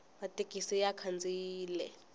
mathekisi ya khandziyile